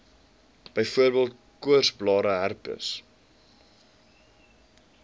byvoorbeeld koorsblare herpes